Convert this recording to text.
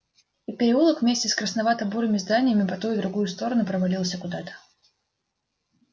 и переулок вместе с красновато-бурыми зданиями по ту и другую сторону провалился куда-то